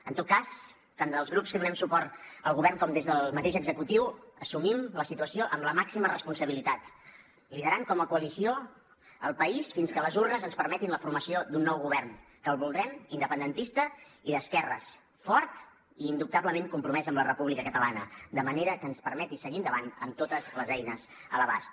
en tot cas tant des dels grups que donem suport al govern com des del mateix executiu assumim la situació amb la màxima responsabilitat liderant com a coalició el país fins que les urnes ens permetin la formació d’un nou govern que el voldrem independentista i d’esquerres fort i indubtablement compromès amb la república catalana de manera que ens permeti seguir endavant amb totes les eines a l’abast